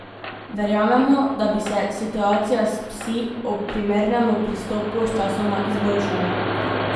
Verjamemo, da bi se situacija s psi, ob primernemu pristopu, sčasoma izboljšala.